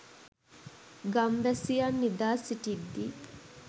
ගම්වැසියන් නිදා සිටිද්දී